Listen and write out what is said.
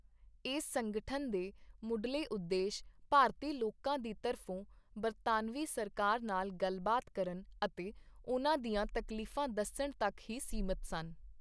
ਇਸ ਸੰਗਠਨ ਦੇ ਮੁਢਲੇ ਉਦੇਸ਼ ਭਾਰਤੀ ਲੋਕਾਂ ਦੀ ਤਰਫੋਂ ਬਰਤਾਨਵੀ ਸਰਕਾਰ ਨਾਲ ਗੱਲਬਾਤ ਕਰਨ ਅਤੇ ਉਨ੍ਹਾਂ ਦੀਆਂ ਤਕਲੀਫਾਂ ਦੱਸਣ ਤੱਕ ਹੀ ਸੀਮਿਤ ਸਨ।